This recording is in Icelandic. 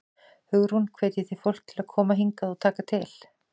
Hugrún: Hvetjið þið fólk til að koma hingað og taka til?